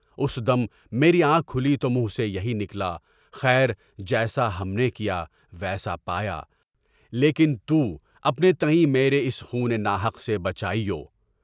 اُس دم میری آنکھ کھلی تو منہ سے یہی نکلا، خیر، جیسا ہم نے کیا، ویسا پایا لیکن تُو اپنے تئیں سے میرے اس خونِ ناحق سے بچائیو۔